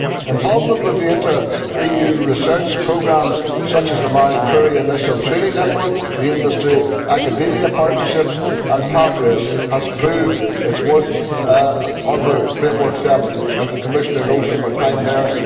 Involvement within inter EU research programmes such as the Marie Curie Initial Training Network, the Industry Academia Partnerships and Pathways has proved its worth under Framework 7, as the Commissioner knows from her time there.